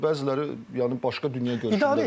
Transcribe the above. Bəziləri yəni başqa dünyagörüşündədir.